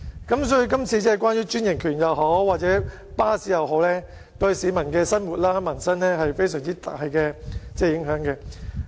因此，這項關於專營權或巴士服務的決議案，對市民的生活或民生均有非常大的影響。